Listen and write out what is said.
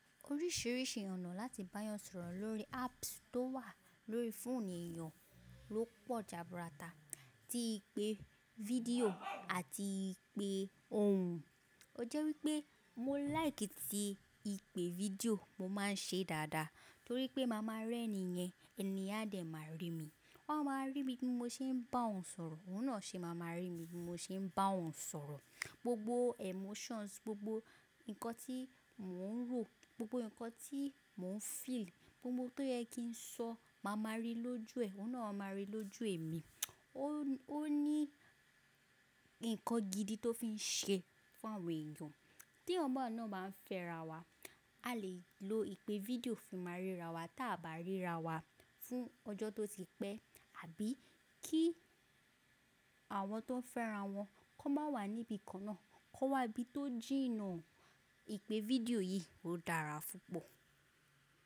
Oríṣiríṣi ọ̀nà láti báyan sọ̀rọ̀ lórí apps tó wà lórí fóònù èèyàn ló pọ̀ jaburata, ti ìpè fídíò àti ìpè ohùn. O jẹ́ wípé mo like ti ìpè fídíò mo máa ń ṣe dáadáa torí pé màá máa rí ẹni yẹn, ẹni yẹn a dẹ̀ máa rí mi. Wọ́n máa rí mi bí mo ṣe ń bá wọn sọ̀rọ̀, òun náà ṣe máa maa rí mi bí mo ṣe ń bá ọun sọ̀rọ̀. Gbogbo emotions, gbogbo nǹkan tí mò ń rò, gbogbo nǹkan tí mò ń feel, gbogbo tó yẹ kí n sọ, màá maa rí lójú ẹ, òun náà máà maa rí lójú èmi. Ó ní nǹkan gidi tó fi ń ṣe fún àwọn èèyàn. Tí ọmọ náà bá ń fẹ́ra wa, a lè lo ìpè fídíò fi máa ríra wa, tí a bá ríra wa fún ọjọ́ tó ti pẹ́ àbí kí àwọn tó fẹ́ra wọn kó má wà níbi kan náà, kó wà ibi tó jìnà. Ìpè video yìí ò dára púpọ̀.